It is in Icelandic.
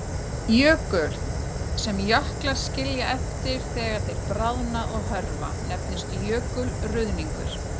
Jökulurð, sem jöklar skilja eftir þegar þeir bráðna og hörfa, nefnist jökulruðningur.